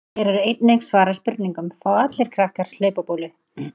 Hér er einnig svarað spurningunum: Fá allir krakkar hlaupabólu?